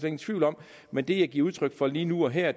ingen tvivl om men det jeg giver udtryk for lige nu og her er